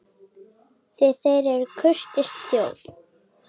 Því þeir eru kurteis þjóð.